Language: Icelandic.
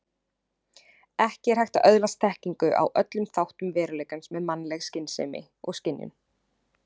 Ekki er hægt að öðlast þekkingu á öllum þáttum veruleikans með mannleg skynsemi og skynjun.